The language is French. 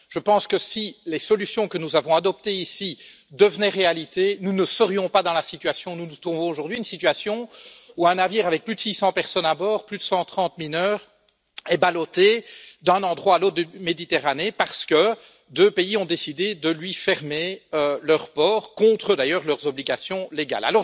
Je pense que si les solutions que nous avons adoptées ici devenaient réalité, nous ne serions pas dans la situation dans laquelle nous nous trouvons aujourd'hui une situation où un navire avec plus de 600 personnes à bord, dont plus de 130 mineurs, est ballotté d'un endroit à l'autre de la Méditerranée parce que deux pays ont décidé de lui fermer leurs ports, en violation, d'ailleurs, de leurs obligations légales.